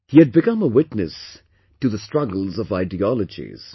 He had become a witness to the struggles of ideologies